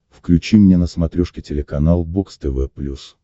включи мне на смотрешке телеканал бокс тв плюс